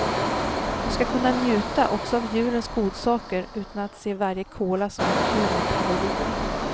Du ska kunna njuta också av julens godsaker utan att se varje kola som en kub med kalorier.